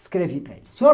Escrevi para ele, Sr.